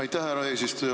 Aitäh, härra eesistuja!